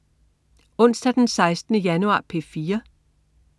Onsdag den 16. januar - P4: